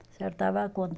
Acertava a conta.